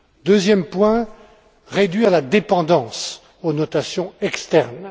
Deuxième point, réduire la dépendance aux notations externes.